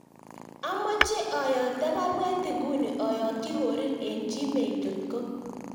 Amoche ayokto baruet inguni ayokyi Korir en gmail.com